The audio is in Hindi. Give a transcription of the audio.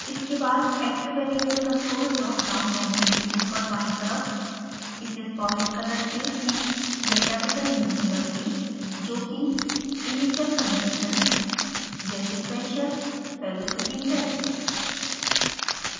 इसके बाद active variable control dropdown menu के ऊपर बायीं तरफ इसे solid color से p या कैपिटल u में बदलें जोकि initial conditions जैसे pressure velocity हैं